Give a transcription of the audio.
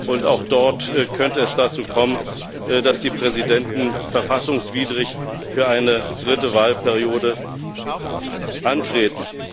Und auch dort könnte es dazu kommen, dass die Präsidenten verfassungswidrig für eine dritte Wahlperiode antreten.